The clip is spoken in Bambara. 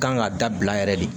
Kan ka dabila yɛrɛ de